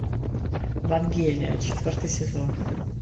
вангелия четвертый сезон